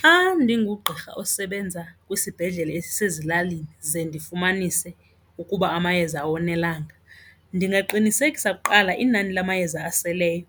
Xa ndingugqirha osebenza kwisibhedlele esisezilalini ze ndifumanise ukuba amayeza awonelanga ndingaqinisekisa kuqala inani lamayeza oseleyo